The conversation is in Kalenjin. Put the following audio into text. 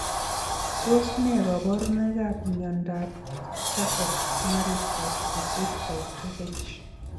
Tos ne kaborunoikap miondopcharcot marie tooth disease type 2h?